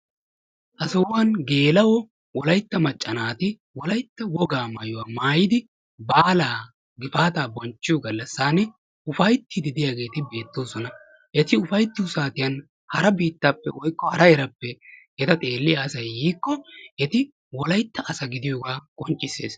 Ha sohuwan geela"o wolaytta macca naati wolaytta wogaa maayuwa maayidi baalaa gifaataa bonchchiyo gallassaani ufayttiiddi diyageeti beettoosona. Eti ufayttiyo saatiyan hara biittaappe woykko hara heeraappe eta xeelliya asay yiikko eti wolaytta asa gidiyogaa qobccisses.